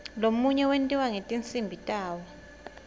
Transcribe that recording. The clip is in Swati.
lomunye wentiwa ngetinsimbi tawo